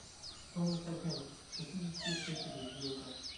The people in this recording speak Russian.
стоимость обмена шестидесяти шекелей в евро